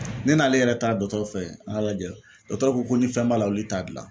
Ne n'ale yɛrɛ ta dɔ dɔgɔtɔrɔw fɛ yen, an y'a lajɛ ,dɔtɔrɔw ko ko ni fɛn b'a la olu t'a dilan.